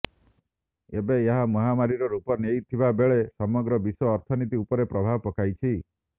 ଏବେ ଏହା ମହାମାରୀର ରୂପ ନେଇଥିବା ବେଳେ ସମଗ୍ର ବିଶ୍ୱର ଅର୍ଥନୀତି ଉପରେ ପ୍ରଭାବ ପକାଇଛି